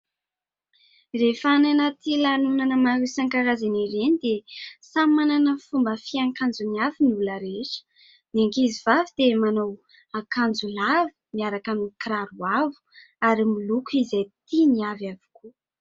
Rehefa any anaty lanonana maro isan-karazany ireny dia samy manana ny fomba fiakanjony avy ny olona rehetra. Ny ankizivavy dia manao akanjo lava miaraka amin'ny kiraro avo ary miloko izay tiany avy avokoa.